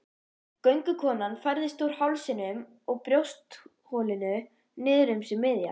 Göngukonan færðist úr hálsinum og brjóstholinu niður um sig miðja.